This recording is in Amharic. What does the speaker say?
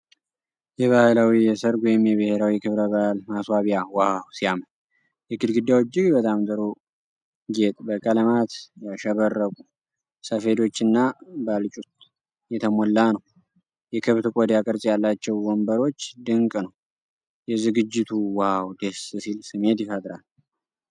የባህላዊ የሰርግ ወይም የብሄራዊ ክብረ በዓል ማስዋቢያ ዋው ሲያምር! የግድግዳው እጅግ በጣም ጥሩ ጌጥ በቀለማት ያሸበረቁ ሰፌዶችና ባልጩት የተሞላ ነው። የከብት ቆዳ ቅርፅ ያላቸው ወንበሮች ድንቅ ነው ። የዝግጅቱ ዋው ደስ ሲል ስሜት ይፈጥራል።